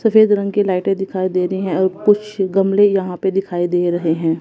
सफेद रंग की लाइटें दिखाई दे रही हैं और कुछ गमले यहां पे दिखाई दे रहे हैं।